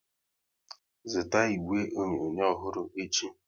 Zụta igwe onyonyo ọhụrụ echi!